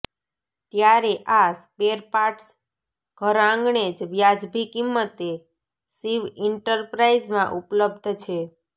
ત્યારે આ સ્પેરપાર્ટ્સ ઘર આંગણે જ વ્યાજબી કિંમતે શિવ ઈન્ટરપ્રાઇઝમાં ઉપ્લબ્ધ છે